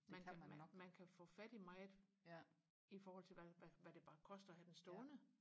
man kan man kan få fat i meget i forhold til hvad hvad hvad det bare koster at have den stående